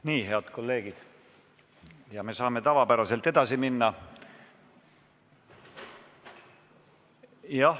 Nii, head kolleegid, me saame tavapäraselt edasi minna.